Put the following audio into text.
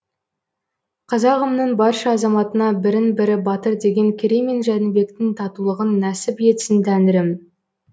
қазағымның барша азаматына бірін бірі батыр деген керей мен жәнібектің татулығын нәсіп етсін тәңірім